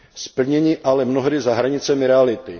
Splnění je ale mnohdy za hranicemi reality.